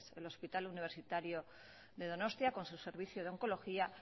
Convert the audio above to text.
el hospital universitario de donostia con su servicio de oncología